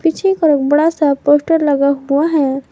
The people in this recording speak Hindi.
पीछे एक बड़ा सा पोस्टर लगा हुआ है।